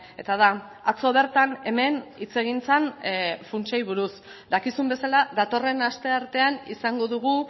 eta da atzo bertan hemen hitz egin zen funtsei buruz dakizun bezala datorren asteartean izango dugu